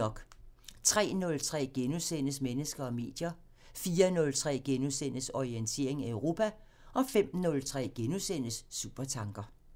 03:03: Mennesker og medier * 04:03: Orientering Europa * 05:03: Supertanker *